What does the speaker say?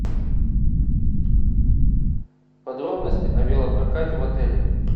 подробности о велопрокате в отеле